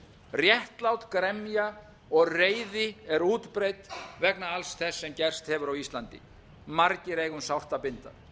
réttlát gremja og reiði er útbreitt vegna alls þess sem gerst hefur á íslandi margir eiga um sárt að binda